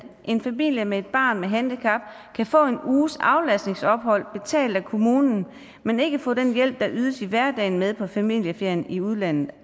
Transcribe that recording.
en familie med et barn med handicap kan få en uges aflastningsophold betalt af kommunen men ikke få den hjælp der ydes i hverdagen med på familieferien i udlandet